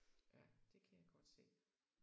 Ja det kan jeg godt se